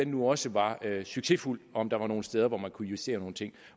nu også var succesfuld og om der var nogle steder hvor man kunne justere nogle ting